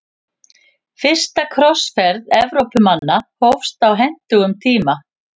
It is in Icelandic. Fyrsta krossferð Evrópumanna hófst á hentugum tíma.